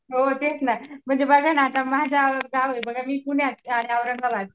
हो तेच ना म्हणजे बघा ना माझ्या गाव औरंगाबाद